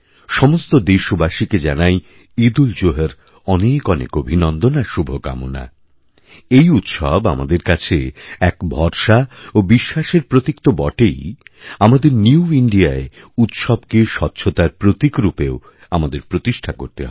সমস্ত দেশবাসীকে জানাইঈদউলজুহার অনেক অনেক অভিনন্দন আর শুভকামনা এই উৎসব আমাদের কাছে এক ভরসা ওবিশ্বাসের প্রতীক তো বটেই আমাদের নিউইন্ডিয়া য় উৎসবকে স্বচ্ছতার প্রতীকরূপেও আমাদেরপ্রতিষ্ঠা করতে হবে